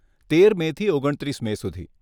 તેર મેથી ઓગણત્રીસ મે સુધી.